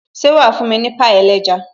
Ṣé wà fún mi ní pie ẹlẹ́ja